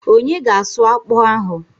Onye ga asụ akpụ ahụ?